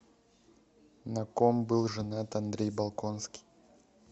на ком был женат андрей болконский